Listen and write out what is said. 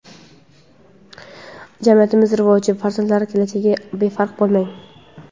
Jamiyatimiz rivoji va farzandlar kelajagiga befarq bo‘lmang!.